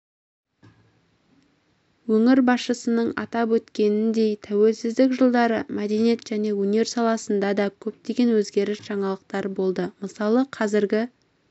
өңір басшысының атап өткеніндей тәуелсіздік жылдары мәдениет және өнер саласында да көптеген өзгеріс-жаңалықтар болды мысалы қазіргі